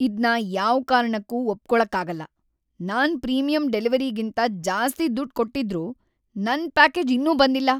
ಇದ್ನ ಯಾವ್ ಕಾರಣಕ್ಕೂ ಒಪ್ಕೊಳಕ್ಕಾಗಲ್ಲ! ನಾನ್ ಪ್ರೀಮಿಯಂ ಡೆಲಿವರಿಗೇಂತ ಜಾಸ್ತಿ ದುಡ್ಡ್‌ ಕೊಟ್ಟಿದ್ರೂ ನನ್ ಪ್ಯಾಕೇಜ್ ಇನ್ನೂ ಬಂದಿಲ್ಲ!